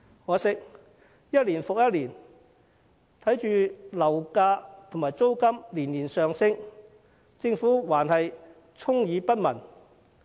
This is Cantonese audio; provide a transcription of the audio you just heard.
可惜，一年復一年，眼見樓價和租金年年上升，但政府依然充耳不聞。